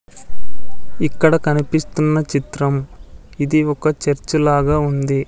ఇక్కడ కనిపిస్తున్న చిత్రం ఇది ఒక చర్చ్ లాగా ఉంది.